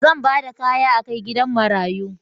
Zan ba da kaya a kai gidan marayu.